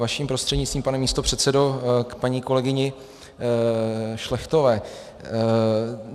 Vaším prostřednictvím pane místopředsedo k paní kolegyni Šlechtové.